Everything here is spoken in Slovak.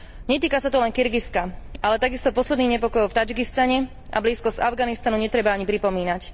Netýka sa to len Kirgizska, ale takisto posledných nepokojov v Tadžikistane, a blízkosť Afganistanu netreba ani pripomínať.